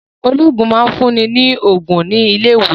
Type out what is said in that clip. Olóògùn máa ń fún ni lógún ní ilé ìwòsàn